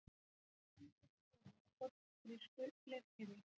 Á myndinni sést Seifur á fornu grísku leirkeri.